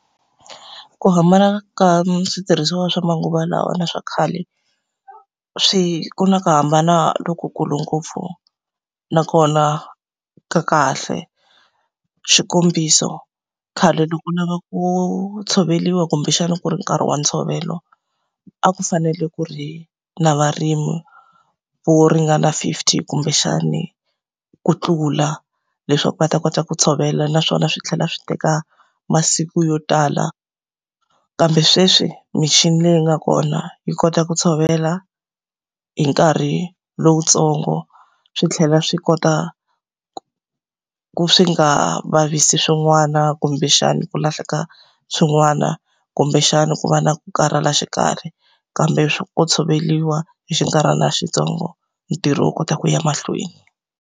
Ku hambana ka switirhisiwa swa manguva lawa na swa khale, swi ku na ku hambana lokukulu ngopfu nakona ka kahle. Xikombiso, khale loko u lava ku tshoveriwa kumbexana ku ri nkarhi wa ntshovelo, a ku fanele ku ri na varimi vo ringana fifty kumbexani ku tlula. Leswaku va ta kota ku tshovela naswona swi tlhela swi teka masiku yo tala. Kambe sweswi michini leyi nga kona yi kota ku tshovela hi nkarhi lowutsongo, swi tlhela swi kota ku swi nga vavisi swin'wana kumbexani ku lahleka swin'wana, kumbexana ku va na ku karhala xikarhi. Kambe ko tshoveriwa hi xinkarhana xitsongo ntirho wu kota ku ya mahlweni.